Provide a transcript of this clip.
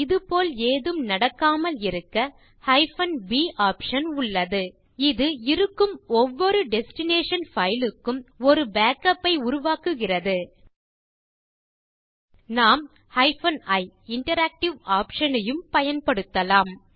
இது போல் ஏதும் நடக்காமல் தடுக்க b ஆப்ஷன் உள்ளது இது இருக்கும் ஒவ்வொரு டெஸ்டினேஷன் பைல் க்கும் ஒரு பேக்கப் ஐ உருவாக்குகிறது நாம் ioption யும் பயன்படுத்தலாம்